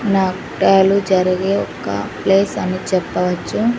జరిగే ఒక ప్లేస్ అని చెప్పవచ్చు.